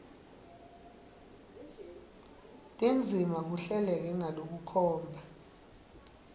tindzima kuhleleke ngalokukhomba